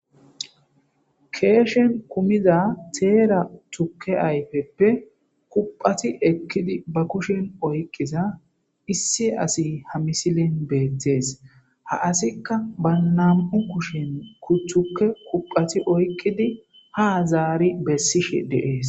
keeshen kumiza teera tukke ayfeppe kuqati ekkidi ba kushen oyqqiza issi asi ha misilen beettees ha asikka ba nam7u kushen kucththuke kuqati oykqidi ha zaari bessishe deees